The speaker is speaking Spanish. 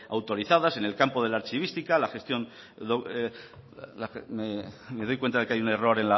autorizadas en el campo de la archivística en la gestión me doy cuenta que hay un error